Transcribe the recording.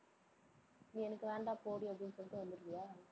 நீ எனக்கு வேண்டாம் போடி, அப்படின்னு சொல்லிட்டு வந்துடுவியா?